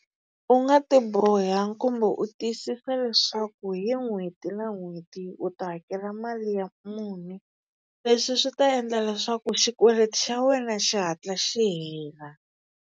U nga ti boha kumbe u tiyisisa leswaku hi n'hweti na n'hweti u ta hakela mali ya muni leswi swi ta endla leswaku xikweleti xa wena xi hatla xi hela.